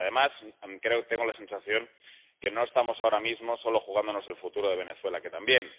Porque, además, tengo la sensación de que no estamos ahora mismo solo jugándonos el futuro de Venezuela, que también.